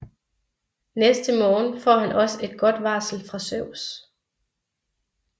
Næste morgen får han også et godt varsel fra Zeus